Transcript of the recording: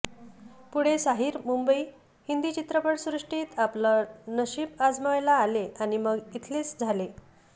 पुढे साहिर मुंबईत हिंदी चित्रपटसृष्टीत आपलं नशीब आजमावायला आले आणि मग इथलेच झाले